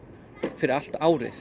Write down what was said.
fyrir allt árið